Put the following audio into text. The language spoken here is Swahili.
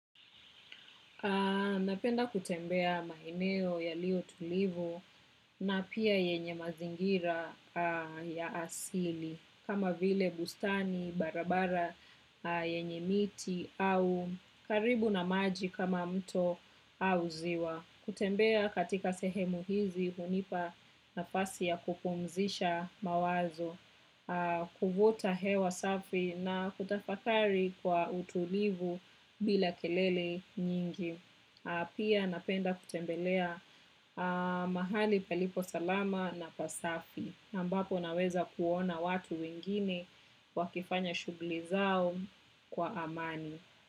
Napenda kutembea maeneo yaliyo tulivu na pia yenye mazingira ya asili kama vile bustani, barabara yenye miti au karibu na maji kama mto au ziwa. Kutembea katika sehemu hizi unipa nafasi ya kupumzisha mawazo, kuvuta hewa safi na kutafakari kwa utulivu bila kelele nyingi. Pia napenda kutembelea mahali palipo salama na pasafi. Ambapo naweza kuona watu wengine wakifanya shughuli zao kwa amani.